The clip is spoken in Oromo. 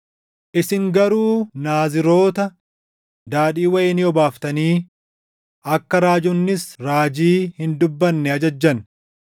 “Isin garuu Naaziroota daadhii wayinii obaaftanii akka raajonnis raajii hin dubbanne ajajjan.